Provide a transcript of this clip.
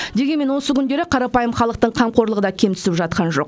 дегенмен осы күндері қарапайым халықтың қамқорлығы да кем түсіп жатқан жоқ